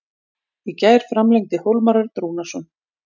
Í gær framlengdi Hólmar Örn Rúnarsson.